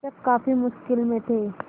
शिक्षक काफ़ी मुश्किल में थे